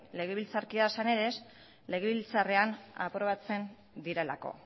legebiltzarkidea zarenez gero legebiltzarrean aprobatzen direlako